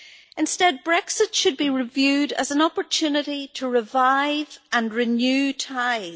Instead, Brexit should be reviewed as an opportunity to revive and renew ties